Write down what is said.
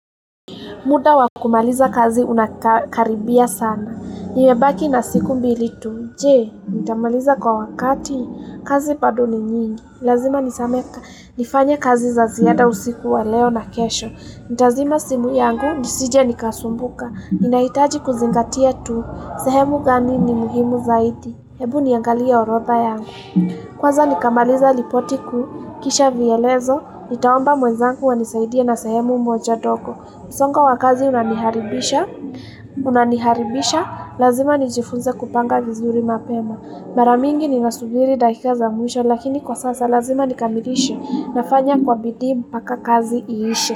Muda wa kumaliza kazi unakaribia sana. Nimebaki na siku mbili tu. Je, nitamaliza kwa wakati? Kazi bado ni nyingi. Lazima nizame nifanye kazi za ziada usiku wa leo na kesho. Nitazima simu yangu. Nisije nikasumbuka. Ninahitaji kuzingatia tu. Sehemu gani ni muhimu zaidi. Hebu niangalie orodha yangu. Kwaza nikamaliza ripoti kau. Kisha vielezo. Nitaomba mwezangu wanisaidie na sehemu moja ndogo. Msongo wa kazi unaniharibisha, unaniharibisha, lazima nijifunze kupanga vizuri mapema. Mara mingi ninasubiri dakika za mwisho lakini kwa sasa lazima nikamilishe nafanya kwa bidii mpaka kazi iishe.